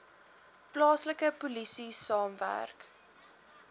plaaslike polisie saamwerk